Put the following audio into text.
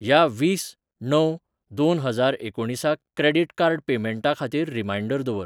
ह्या वीस णव दोन हजार एकुणीसाक क्रेडिट कार्ड पेमेंटा खातीर रिमांयडर दवर.